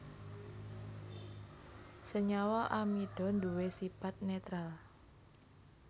Senyawa amida nduwé sipat nétral